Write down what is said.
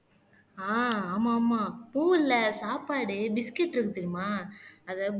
ஆஹ் ஆமா ஆமா பூ இல்ல சாப்பாடு பிஸ்கட் இருக்கு தெரியுமா அதை